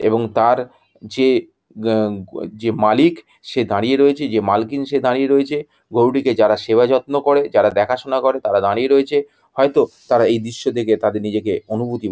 এবং তার যে গা গু যে মালিক সে দাঁড়িয়ে রয়েছে যে মালকিন সে দাঁড়িয়ে রয়েছে। গরু টিকে যারা সেবা যত্ন করে যারা দেখাশোনা করে তারা দাঁড়িয়ে রয়েছে হয়তো তারা এই দৃশ্য দেখে তাদের নিজেকে অনুভূতি।